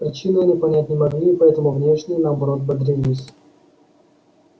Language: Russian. причины они понять не могли и потому внешне наоборот бодрились